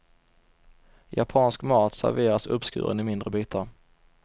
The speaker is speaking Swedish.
Japansk mat serveras uppskuren i mindre bitar.